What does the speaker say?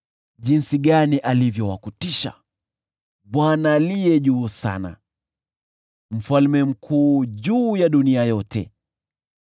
Jinsi gani alivyo wa kutisha, Bwana Aliye Juu Sana, Mfalme mkuu juu ya dunia yote!